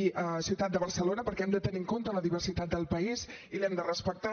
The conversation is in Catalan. i a ciutat de barcelona perquè hem de tenir en compte la diversitat del país i l’hem de respectar